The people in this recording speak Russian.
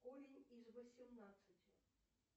корень из восемнадцати